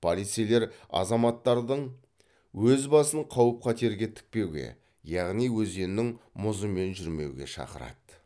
полицейлер азаматтардың өз басын қауіп қатерге тікпеуге яғни өзеннің мұзымен жүрмеуге шақырады